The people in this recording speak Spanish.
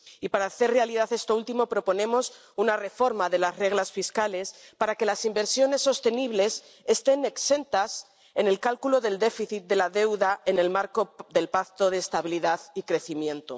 Y, para hacer realidad esto último, proponemos una reforma de las reglas fiscales para que las inversiones sostenibles estén exentas en el cálculo del déficit de la deuda en el marco del Pacto de Estabilidad y Crecimiento.